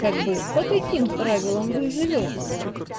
как бы вот таким правилам вы живете